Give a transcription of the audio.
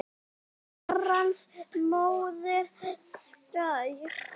Frú er Herrans móðir skær.